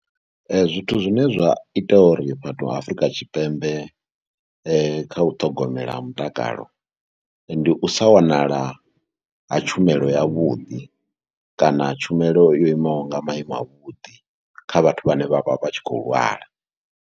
Zwithu zwine zwa ita uri vhathu vha Afrika Tshipembe khau ṱhogomela ha mutakalo ndi u sa wanala ha tshumelo yavhuḓi kana tshumelo yo imaho nga maiimo avhuḓi, kha vhathu vhane vha vha vha tshi khou lwala.